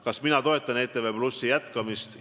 Kas mina toetan ETV+ jätkamist?